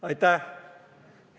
Aitäh!